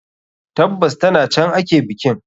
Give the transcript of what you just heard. Tabbas, ta can ake bikin.